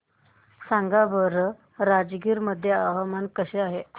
सांगा बरं राजगीर मध्ये हवामान कसे आहे